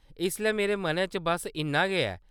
इसलै मेरे मनै च बस्स इन्ना गै ऐ।